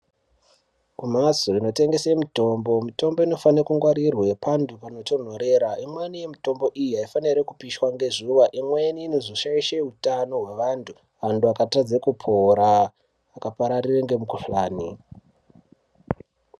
Ku mhatso ino tengese mitombo mitombo inofane ku ngwarirwe pandu pano tondorera imweni mutombo iyi ayi faniri kupishwa ne zuva imweni inozo shaishe utano hwe vantu vantu vaka tadze kupora vaka pararire nge mukuhlani.